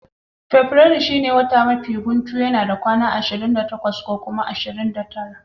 Fabrairu shine watan mafi guntu kuma yana da kwanaki ashirin da takwas ko ashirin da tara.